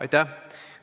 Aitäh!